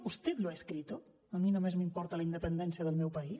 usted lo ha escrito a mi només m’importa la independència del meu país